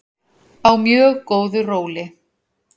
Á mjög góðu róli.